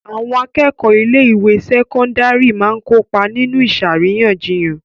Àwọn akẹ́kọ̀ọ́ ilé-ìwé sẹ́kọ́ndárì máa ń kópa nínú ìṣàríyànjiyàn.